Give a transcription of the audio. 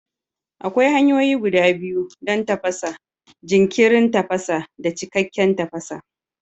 Akwai hanyoyi guda biyu don tafasa: jinkirin tafasa da cikakken tafasa.